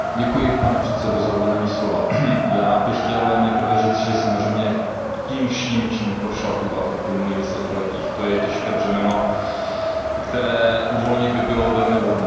Pane předsedající, já bych chtěl nejprve říct, že samozřejmě to, čím prošla Kuba v uplynulých desetiletích, to je těžké břemeno, které uvolnit by bylo velmi vhodné.